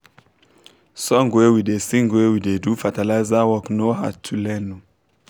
song wey we da sing when we da do fertiliza work no hard to learn